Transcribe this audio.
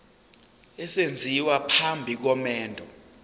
esenziwa phambi komendo